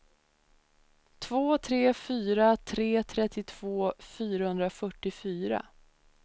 två tre fyra tre trettiotvå fyrahundrafyrtiofyra